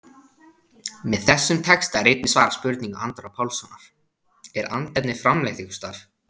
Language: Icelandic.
Með þessum texta er einnig svarað spurningu Andra Pálssonar, Er andefni framleitt einhvers staðar?